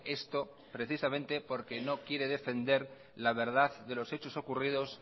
esto precisamente porque no quiere defender la verdad de los hechos ocurridos